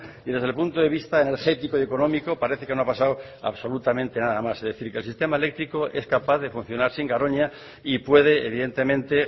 y desde el punto de vista energético y económico parece que no ha pasado absolutamente nada más es decir que el sistema eléctrico es capaz de funcionar sin garoña y puede evidentemente